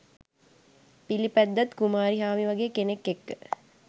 පිලිපැද්දත් කුමාරිහාමි වගෙ කෙනෙක් එක්ක